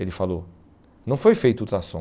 Ele falou, não foi feito ultrassom.